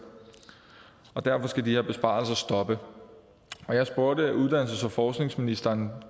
derfor skal de her besparelser stoppe jeg spurgte uddannelses og forskningsministeren